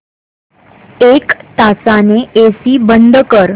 एक तासाने एसी बंद कर